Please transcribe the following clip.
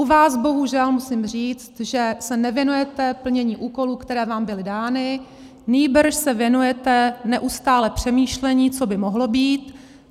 U vás bohužel musím říct, že se nevěnujete plnění úkolů, které vám byly dány, nýbrž se věnujete neustále přemýšlení, co by mohlo být.